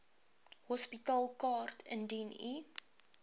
hospitaalkaart indien u